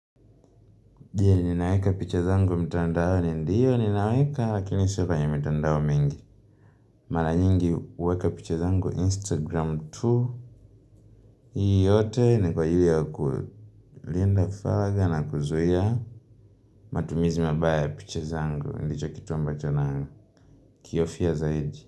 Ninaweka picha zangu mtandaoni? Ndiyo ninaweka lakini sio kwenye mitandao mingi mara nyingi uweka picha zangu instagram tu hii yote ni kwa ajili ya kulinda fadha na kuzuia matumizi mabaya ya picha zangu ndicho kitu ambacho na kihofia zaidi.